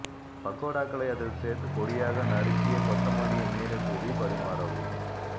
பக்கோடாக்களை அதில் சோ்த்து பொடியாக நறுக்கிய கொத்தமல்லியை மேலே தூவிப் பரிமாறவும்